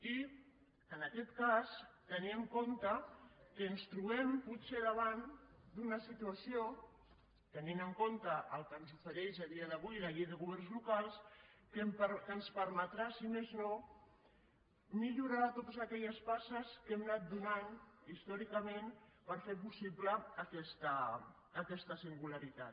i en aquest cas tenir en compte que ens trobem potser davant d’una situació tenint el compte el que ens ofereix a dia d’avui la llei de governs locals que ens permetrà si més no millorar totes aquelles passes que hem anat fent històricament per fer possible aquesta singularitat